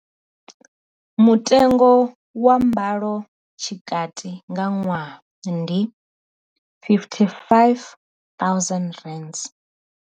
Mutengo wa mbalo tshikati nga ṅwaha ndi R55 000.